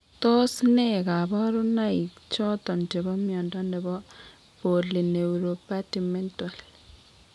Tos nee kabarunaik choton chebo mnyondo nebo Polyneuropathy mental ?